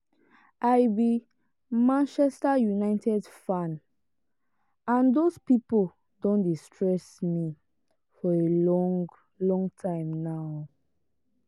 i be manchester united fan and those people don dey stress me for a long long time now.